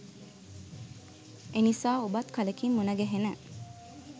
එනිසා ඔබත් කලකින් මුණගැහෙන